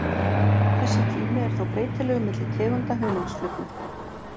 Þessi tími er þó breytilegur milli tegunda hunangsflugna.